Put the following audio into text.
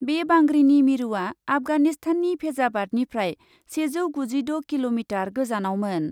बे बांग्रिनि मिरुआ आफगानिस्ताननि फेजाबादनिफ्राय सेजौ गुजिद' किल'मिटार गोजानावमोन।